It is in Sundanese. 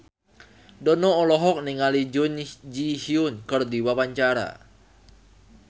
Dono olohok ningali Jun Ji Hyun keur diwawancara